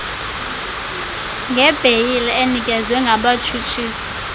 ngebheyile enikezwe ngabatshutshisi